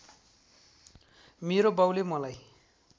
मेरो बाउले मलाई